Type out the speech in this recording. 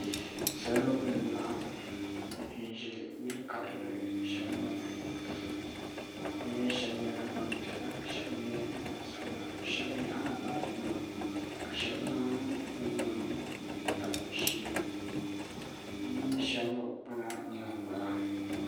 Salo n-laɣim n-ʒe yili karili shɛli gbuni bɛ mi shɛba nyɛla gbampiɛla ka shɛba nyɛ gbansabila shɛba nyaɣila baajinima ka shɛba zaŋ bɛ nuhi n-tabi bɛ shee bɛ mi shɛba kpala ninkpara.